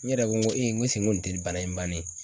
N yɛrɛ ko ko ko nin te nin bana in bannen ye